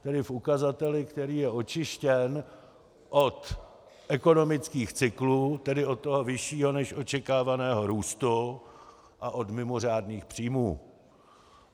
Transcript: Tedy v ukazateli, který je očištěn od ekonomických cyklů, tedy od toho vyššího než očekávaného růstu, a od mimořádných příjmů.